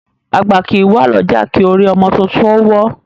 Agba kìí wa lọja ki orí ọmọ tuntun o wo